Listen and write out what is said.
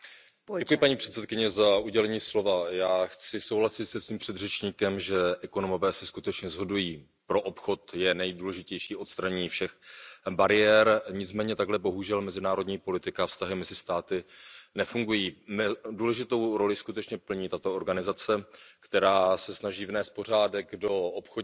Paní předsedající, já chci souhlasit se svým předřečníkem, že ekonomové se skutečně shodují na tom, že pro obchod je nejdůležitější odstranění všech bariér, nicméně takhle bohužel mezinárodní politika a vztahy mezi státy nefungují. Důležitou roli skutečně plní tato organizace, která se snaží vnést pořádek do obchodních